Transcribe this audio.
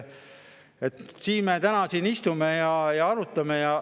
Siin me täna istume ja arutame.